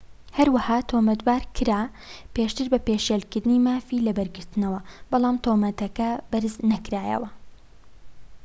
هەروەها تۆمەتبار کرا پێشتر بە پێشێلکردنی مافی لەبەرگرتنەوە بەڵام تۆمەتەکە بەرز نەکرایەوە